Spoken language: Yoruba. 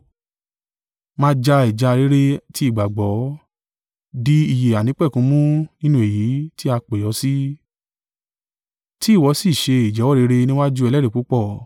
Máa ja ìjà rere ti ìgbàgbọ́, di ìyè àìnípẹ̀kun mú nínú èyí tí a pè ọ sí, ti ìwọ sì ṣe ìjẹ́wọ́ rere níwájú ẹlẹ́rìí púpọ̀.